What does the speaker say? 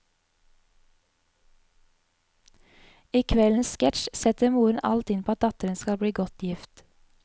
I kveldens sketsj setter moren alt inn på at datteren skal bli godt gift.